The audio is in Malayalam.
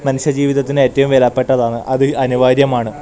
മനുഷ്യ ജീവിതത്തിന് ഏറ്റവും വിലപ്പെട്ടതാണ് അത് അനിവാര്യമാണ്.